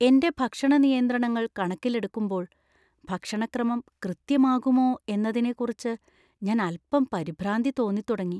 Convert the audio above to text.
എന്‍റെ ഭക്ഷണ നിയന്ത്രണങ്ങൾ കണക്കിലെടുക്കുമ്പോൾ, ഭക്ഷണ ക്രമം കൃത്യമാകുമോ എന്നതിനെക്കുറിച്ച് ഞാൻ അൽപ്പം പരിഭ്രാന്തി തോന്നിത്തുടങ്ങി.